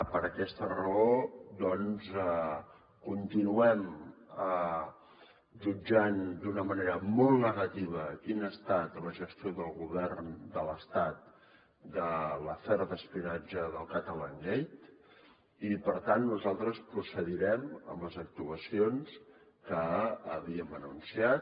per aquesta raó doncs continuem jutjant d’una manera molt negativa quina ha estat la gestió del govern de l’estat de l’afer d’espionatge del catalangate i per tant nosaltres procedirem amb les actuacions que havíem anunciat